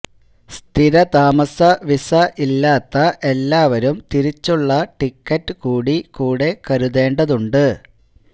സ്ഥിര താമസ വിസ ഇല്ലാത്ത എല്ലാവരും തിരിച്ചുള്ള ടിക്കറ്റ് കൂടി കൂടെ കരുതേണ്ടതുണ്ട്